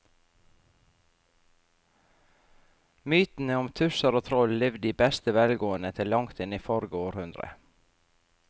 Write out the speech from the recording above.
Mytene om tusser og troll levde i beste velgående til langt inn i forrige århundre.